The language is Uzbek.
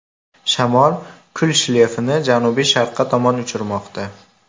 Shamol kul shleyfini janubi-sharqqa tomon uchirmoqda.